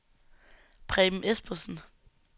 Preben Espersen